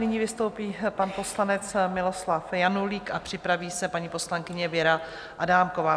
Nyní vystoupí pan poslanec Miloslav Janulík a připraví se paní poslankyně Věra Adámková.